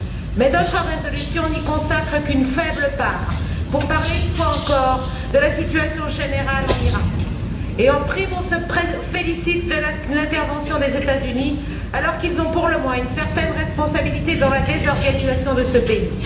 Mais d'autres résolutions n'y consacrent qu'une faible part pour parler une fois encore de la situation générale en Iraq et, en prime, on se félicite de l'intervention des États Unis alors qu'ils ont, pour le moins, une certaine responsabilité dans la désorganisation de ce pays.